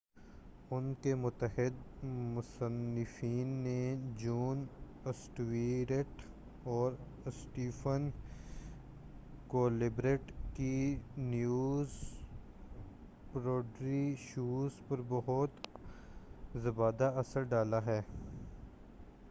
ان کے متعدد مصنفین نے جون اسٹیورٹ اور اسٹیفن کولبرٹ کی نیوز پیروڈی شوز پر بہت زیادہ اثر ڈالا ہے